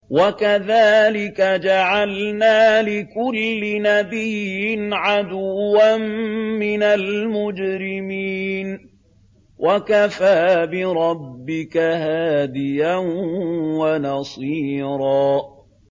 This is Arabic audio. وَكَذَٰلِكَ جَعَلْنَا لِكُلِّ نَبِيٍّ عَدُوًّا مِّنَ الْمُجْرِمِينَ ۗ وَكَفَىٰ بِرَبِّكَ هَادِيًا وَنَصِيرًا